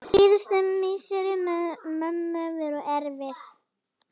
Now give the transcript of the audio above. Síðustu misseri mömmu voru erfið.